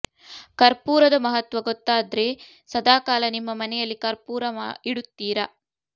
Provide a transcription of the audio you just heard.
ಕರ್ಪೂರದ ಮಹತ್ವ ಗೊತ್ತಾದ್ರೆ ಸದಾ ಕಾಲ ನಿಮ್ಮ ಮನೆಯಲ್ಲಿ ಕರ್ಪೂರ ಇಡುತ್ತೀರ